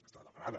està demanada